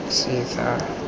setha